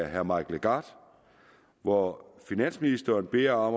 herre mike legarth hvor finansministeren bliver